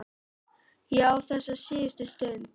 Ég á þessa síðustu stund.